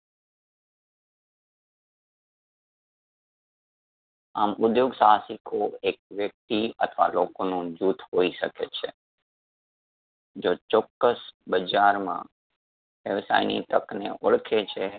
આમ ઉધ્યોગ સાહસિકો એક વ્યક્તિ અથવા લોકોનું જુથ હોઈ શકે છે. જો ચોક્કસ બજારમાં વ્યવસાયની તક ને ઓળખે છે.